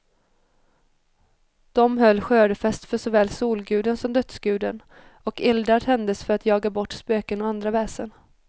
De höll skördefest för såväl solguden som dödsguden, och eldar tändes för att jaga bort spöken och andra väsen.